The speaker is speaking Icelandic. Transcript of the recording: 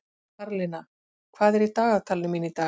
Karlinna, hvað er í dagatalinu mínu í dag?